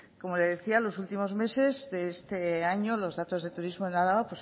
como le decía los últimos meses de este año los datos de turismo en álava